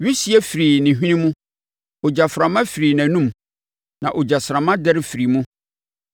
Wisie firii ne hwene mu; ogyaframa firii nʼanom, na egyasramma dɛre firii mu.